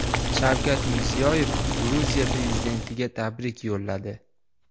Shavkat Mirziyoyev Gruziya prezidentiga tabrik yo‘lladi.